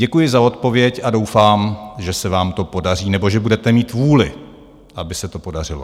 Děkuji za odpověď a doufám, že se vám to podaří, nebo že budete mít vůli, aby se to podařilo.